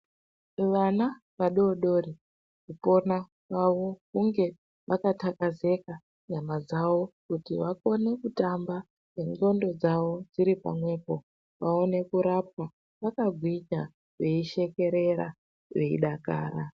Vana vadodori kupona kwavo hunge vakathakazeka nyama dzavo kuti vakone kutamba nendxondo dzavo dziri pamwepo vaone kurapwa vakagwinya veishekerera veidakara.